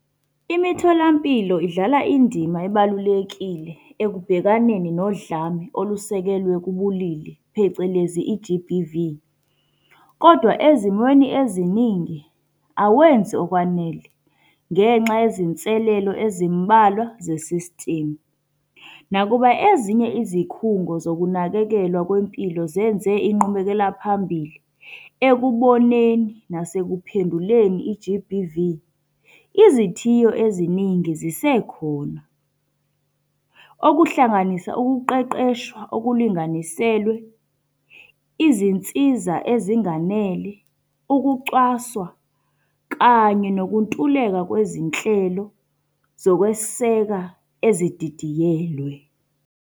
Imitholampilo idlala indima ebalulekile ekubhekaneni nodlame olusekelwe kubulili, phecelezi i-G_B_V. Kodwa ezimweni eziningi awenzi okwanele ngenxa yezinselelo ezimbalwa ze system. Nakuba ezinye izikhungo zokunakekelwa kwempilo zenze inqubekela phambili ekuboneni nasekuphenduleni i-G_B_V, izithiyo eziningi zisekhona. Okuhlanganisa ukuqeqeshwa okulinganiselwe, izinsiza ezinganele, ukucwaswa, kanye nokuntuleka kwezinhlelo zokweseka ezididiyelwe.